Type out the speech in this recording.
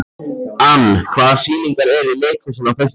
Ann, hvaða sýningar eru í leikhúsinu á föstudaginn?